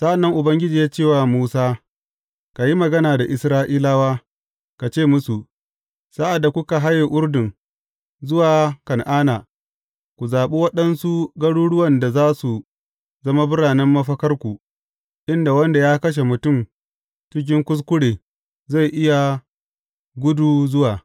Sa’an nan Ubangiji ya ce wa Musa, Ka yi magana da Isra’ilawa, ka ce musu, Sa’ad da kuka haye Urdun zuwa Kan’ana, ku zaɓi waɗansu garuruwan da za su zama biranen mafakarku, inda wanda ya kashe mutum cikin kuskure zai iya gudu zuwa.